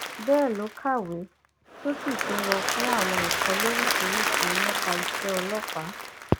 bẹẹ ló kàwé tó sì tún lọ fún àwọn ẹkọ lóríṣìíríṣìí nípa iṣẹ ọlọpàá